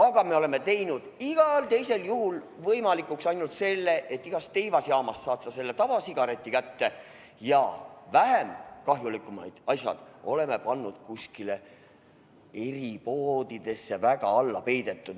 Aga me oleme mugavaks teinud ainult selle, et igas teivasjaamas saad selle tavasigareti kätte, aga vähem kahjulikud tooted on kuskil eripoodides, kus nad on kuhugi väga alla peidetud.